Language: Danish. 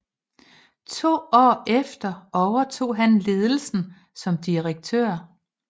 To år efter overtog han ledelsen som direktør